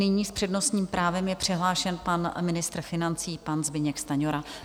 Nyní s přednostním právem je přihlášen pan ministr financí, pan Zbyněk Stanjura.